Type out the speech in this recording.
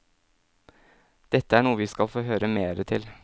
Dette er noe vi skal få høre mere til.